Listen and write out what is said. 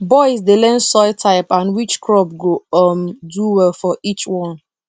boys dey learn soil type and which crop go um do well for each one